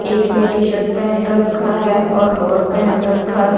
एक ने टी-शर्ट पहन रखा है और लोअर पहन रखा हैं।